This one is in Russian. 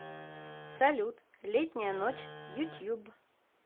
салют летняя ночь ютьюб